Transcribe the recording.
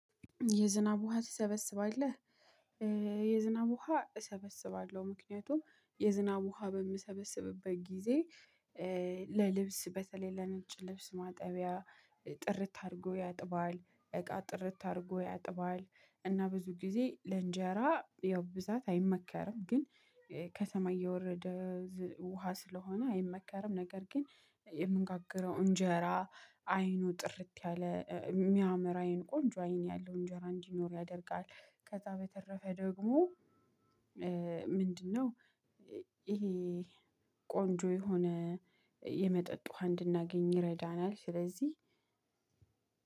የዝናብ ውሃ ትሰበስባለህ? የዝናብ ውሃ እሰበስባለሁ ምክንያቱም የዝናብ ውሃ በምሰበስብበት ጊዜ ለልብስ በተለይ ለነጭ ልብስ ማጠቢያ። ጥርት አድርጎ ያጥባል እቃ ጥርት አድርጎ ያጥባል። እና ብዙ ጊዜ ለእንጀራ ያው ብዛት አይመከርም ግን ከሰማይ የወረደ ውሃ ስለሆነ አይመከርም። ነገር ግን የምንጋግረው እንጀራ አይኑ ጥርት ያለ የሚያምር አይን ቆንጆ አይን ያለው እንጀራ እንዲኖር ያደርጋል። ከዛ በተረፈ ደግሞ ምንድነው? ይሄ ቆንጆ የሆነ የመጠጥ ውሃ እንድናገኝ ይረዳናል። ስለዚህ